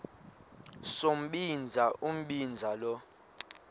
sombinza umbinza lo